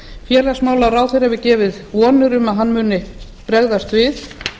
félagsmálaráðherra hefur gefið vonir um að hann muni bregðast við